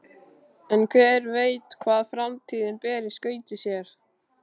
En hver veit hvað framtíðin ber í skauti sér?